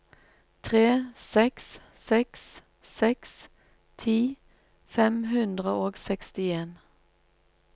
tre seks seks seks ti fem hundre og sekstien